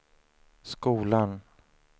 skolan